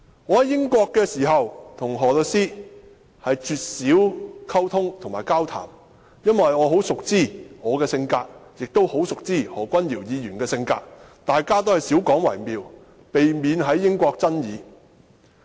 我在英國時，我與何律師絕少溝通和交談，因為我熟知我的性格和何君堯議員的性格，大家也是少交談為妙，避免在英國出現爭論的情況。